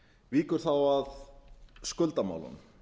víkur þá að skuldamálunum